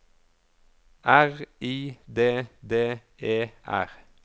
R I D D E R